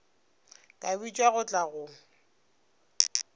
ka bitšwa go tla go